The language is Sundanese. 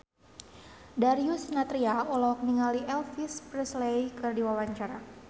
Darius Sinathrya olohok ningali Elvis Presley keur diwawancara